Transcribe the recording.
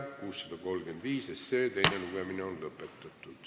Eelnõu 635 teine lugemine on lõpetatud.